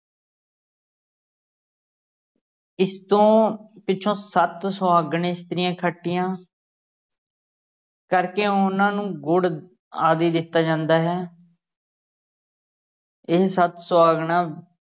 ਇਸ ਤੋਂ ਪਿੱਛੋਂ ਸੱਤ ਸੁਹਾਗਨ ਇਸਤਰੀਆਂ ਇਕੱਠੀਆਂ ਕਰਕੇ ਉਹਨਾਂ ਨੂੰ ਗੁੜ ਆਦਿ ਦਿੱਤਾ ਜਾਂਦਾ ਹੈ ਇਹ ਸੱਤ ਸੁਹਾਗਨਾ